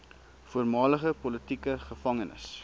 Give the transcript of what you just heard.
voormalige politieke gevangenes